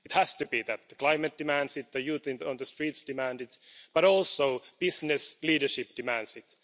It has to be that the climate demands it, the youth on the streets demand it, but also business leadership demands it.